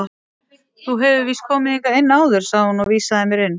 Þú hefur víst komið hingað inn áður sagði hún og vísaði mér inn.